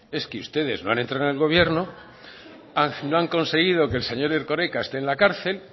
es que ustedes no han entrado en el gobierno no han conseguido que el señor erkoreka esté en la cárcel